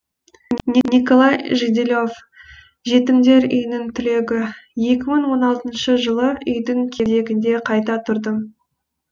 николай жиделев жетімдер үйінің түлегі екі мың он алтыншы жылы үйдің кезегінде қайта тұрдым